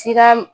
Siya